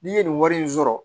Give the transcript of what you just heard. N'i ye nin wari in sɔrɔ